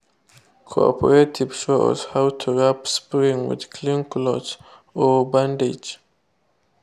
cooperative show us how to wrap sprain with clean cloth or bandage.